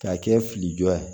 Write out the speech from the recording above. K'a kɛ fili jo ye